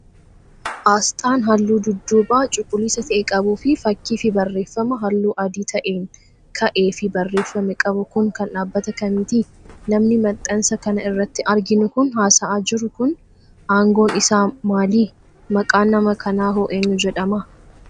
Asxaan haalluu dudduubaa cuuliisa ta'e qabuu fi fakkii fi barreeffama haalluu adii ta'een ka'ee fi barreeffame qabu kun, kan dhaabbata kamiiti? Namni maxxansa kana irratti arginu kan haasa'aa jiru kun, aangoon isaa maali? Maqaan nama kanaa hoo eenyu jedhama?